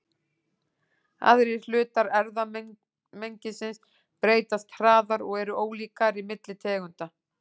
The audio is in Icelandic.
Aðrir hlutar erfðamengisins breytast hraðar og eru ólíkari milli tegunda.